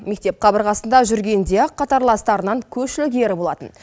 мектеп қабырғасында жүргенде ақ қатарластарынан көш ілгері болатын